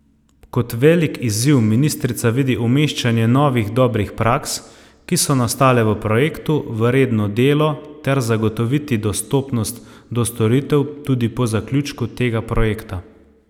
Kot velik izziv ministrica vidi umeščanje novih dobrih praks, ki so nastale v projektu, v redno delo, ter zagotoviti dostopnost do storitev tudi po zaključku tega projekta.